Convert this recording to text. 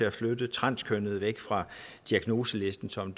at flytte transkønnede væk fra diagnoselisten som